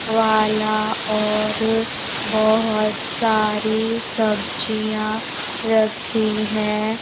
वाला और बहुत सारी सब्जियां रखी हैं।